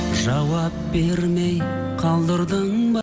жауап бермей қалдырдың ба